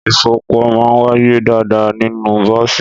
Ìfunpọ̀ maà ń wàyé dàdà nínù bọ̀sí